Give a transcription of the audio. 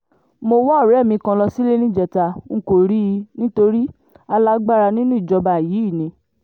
mo wá ọ̀rẹ́ mi kan lọ sílé níjẹta n kò rí i nítorí alágbára nínú ìjọba yìí ni